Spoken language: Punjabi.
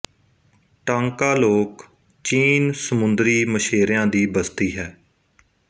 ਟਾਂਕਾ ਲੋਕ ਚੀਨ ਸਮੁੰਦਰੀ ਸਛੇਰਿਆ ਦੀ ਬਸਤੀ ਹੈ